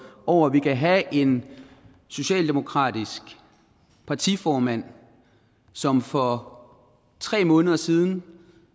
over at vi kan have en socialdemokratisk partiformand som for tre måneder siden